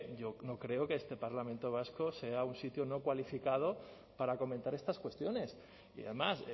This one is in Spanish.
yo no creo que este parlamento vasco sea un sitio no cualificado para comentar estas cuestiones y además